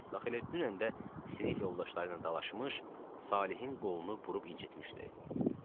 Bax elə dünən də sinif yoldaşları ilə dalaşmış, Salehin qolunu burub incitmişdi.